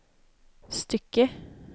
stycke